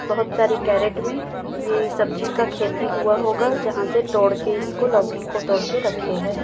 बहुत सारी कैरेट में ये सब्जी का खेती हुआ होगा जहां से तोड़ के इसको लौकी को तोड़ कर रखे हैं।